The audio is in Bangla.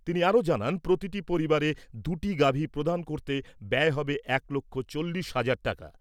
তিনি আরও জানান, প্রতিটি পরিবারে দুটি গাভী প্রদান করতে ব্যয় হবে এক লক্ষ চল্লিশ হাজার টাকা ।